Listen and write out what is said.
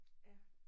Ja